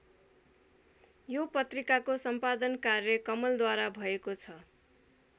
यो पत्रिकाको सम्पादन कार्य कमलद्वारा भएको छ।